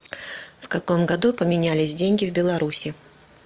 в каком году поменялись деньги в беларуси